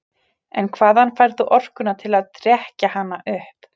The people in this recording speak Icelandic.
En hvaðan færð þú orkuna til að trekkja hana upp?